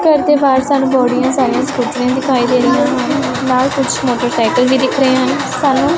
ਘੱਰ ਦੇ ਬਾਹਰ ਸਾਨੂੰ ਸਕੂਟੀਆਂ ਦਿਖਾਈ ਦੇ ਰਹੀਆਂ ਹਨ ਨਾਲ ਕੁੱਛ ਮੋਟਰਸਾਈਕਲ ਵੀ ਦਿੱਖ ਰਹੇ ਹਨ ਸਾਨੂੰ।